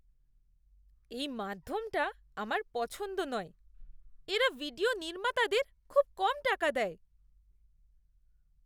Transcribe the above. এই মাধ্যমটা আমার পছন্দ নয়। এরা ভিডিও নির্মাতাদের খুব কম টাকা দেয়।